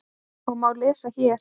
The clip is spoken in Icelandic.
og má lesa hér.